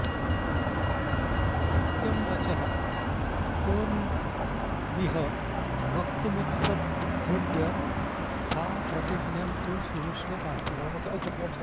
सत्यं वचः को न्विह वक्तुमुत्सहेद्यथाप्रतिज्ञं तु शृणुष्व पार्थिव